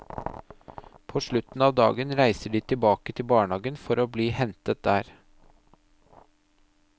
På slutten av dagen reiser de tilbake til barnehagen for å bli hentet der.